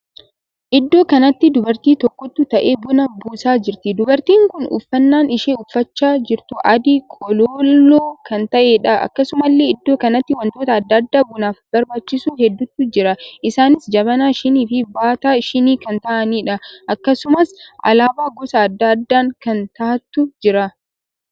Iddoo kanatti dubartii tokkotu taa'ee buna buusaa jirti. dubartiin kun uffannaan isheen uffachaa jirtu adii qolooloo kan taheedha. akkasumallee iddoo kanatti wantoota addaa addaa bunaaf barbaachisu hedduutu jira. isaanis jabanaa, shinii fi baataa shinii kan taa'aaniidha. akkasumas alaabaa gosa addaa addaa kan tahantu jira.